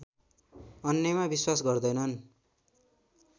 अन्यमा विश्वास गर्दैनन्